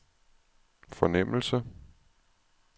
fornemmelse